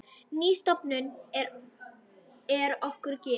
Ný stofnun er okkur gefin.